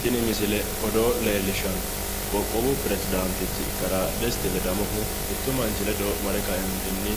tini misile odoo leellishshanno qoqowu piresdaantichi kalaa desti ledamohu mittu manchi ledo mare kaeentinni